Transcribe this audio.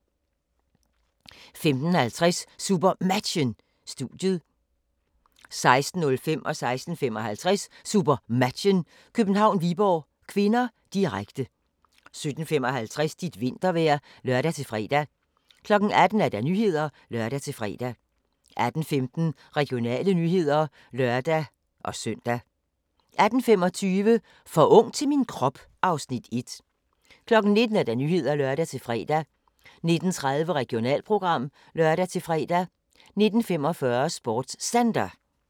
15:50: SuperMatchen: Studiet 16:05: SuperMatchen: København-Viborg (k), direkte 16:55: SuperMatchen: København-Viborg (k), direkte 17:55: Dit vintervejr (lør-fre) 18:00: Nyhederne (lør-fre) 18:15: Regionale nyheder (lør-søn) 18:25: For ung til min krop (Afs. 1) 19:00: Nyhederne (lør-fre) 19:30: Regionalprogram (lør-fre) 19:45: SportsCenter